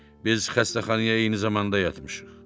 Biz xəstəxanaya eyni zamanda yatmışıq.